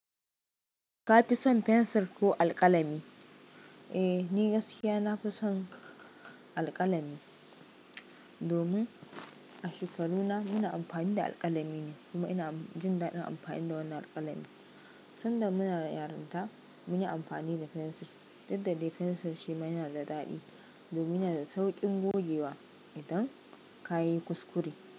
Ka fi son fensir ko alƙalami? Eh, ni gaskiya na fi son alƙalami domin a shekaruna muna amfani da alƙalami ne kuma ina jin daɗin amfani da wannan alƙalami. Sanda muna yarinta mun yi amfani da fensir, duk da dai fensir shi ma yana da daɗi domin yana da sauƙin gogewa idan ka yi kuskure.